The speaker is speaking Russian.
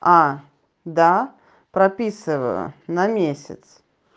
а да прописываю на месяц